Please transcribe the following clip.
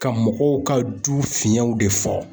Ka mɔgɔw ka du fiɲɛw de fɔ